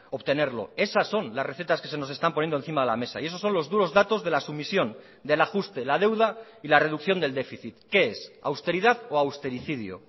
obtenerlo esas son las recetas que se nos están poniendo encima de la mesa y esos son los duros datos de la sumisión del ajuste la deuda y la reducción del déficit qué es austeridad o austericidio